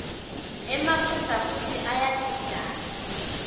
emaphutsa futsi iyadidana